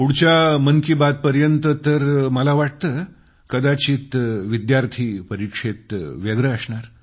पुढच्या मन की बातपर्यंत तर मला वाटतं कदाचित विद्यार्थी परीक्षेत व्यग्र असणार